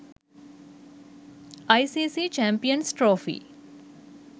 icc champions trophy